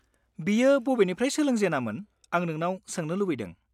-बियो बबेनिफ्राय सोलोंजेनामोन आं नोंनाव सोंनो लुबैदों?